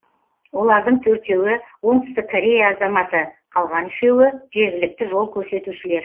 олардың төртеуі оңтүстік корея азаматы қалған үшеуі жергілікті жол көрсетушілер